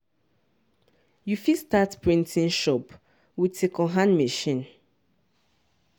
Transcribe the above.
you fit start printing shop with secondhand machine.